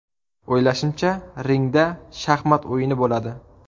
O‘ylashimcha, ringda shaxmat o‘yini bo‘ladi.